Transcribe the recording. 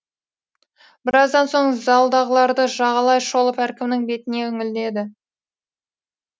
біраздан соң залдағыларды жағалай шолып әркімнің бетіне үңіледі